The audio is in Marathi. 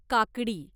काकडी